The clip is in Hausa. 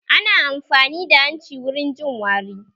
Ana amfani da hanci wurin jin wari